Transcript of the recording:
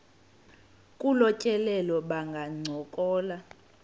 kolu tyelelo bangancokola